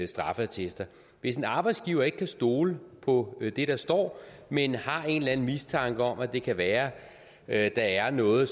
straffeattester hvis en arbejdsgiver ikke kan stole på det der står men har en eller anden mistanke om at det kan være at der er noget